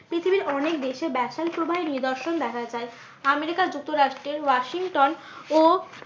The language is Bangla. পৃথিবীর অনেক দেশে ব্যাসেল প্রবাহের নিদর্শন দেখা যায়। আমেরিকা যুক্তরাষ্ট্রের ওয়াসিংটন ও